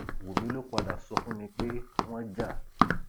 wúmi ló padà sọ fún mi pé wọn jà